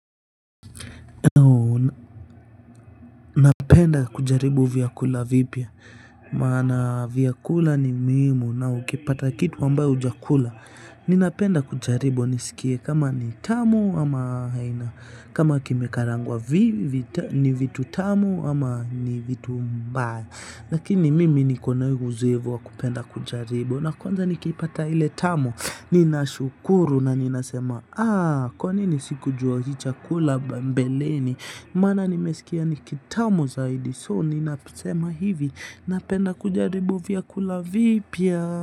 Napenda kujaribu vyakula vipya maana vyakula ni muhimu na ukipata kitu ambayo hujakula ninapenda kujaribu nisikie kama ni tamu ama haina kama kimekarangwa vipi ni vitu tamu ama ni vitu mbaya. Lakini mimi nikona huu uzoevu wa kupenda kujaribu na kwanza nikiipata ile tamu nina shukuru na nina sema kwa nini sikujua hii chakula mbeleni maana nimesikia ni kitamu zaidi. So nina sema hivi. Napenda kujaribu vyakula vipya.